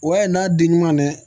O y'a ye n'a di ɲuman dɛ